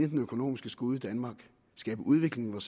den økonomiske skude i danmark skabe udvikling i